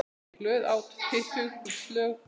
Reykti glöð, át fitug slög.